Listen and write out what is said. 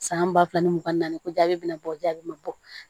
San ba fila ni mugan ni naani ko jaabi bɛna bɔ jaabi ma bɔ